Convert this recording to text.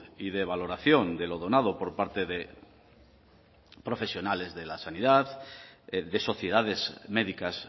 y de valoración de lo donado por parte de profesionales de la sanidad de sociedades médicas